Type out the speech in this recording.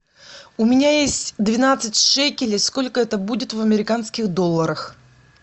у меня есть двенадцать шекелей сколько это будет в американских долларах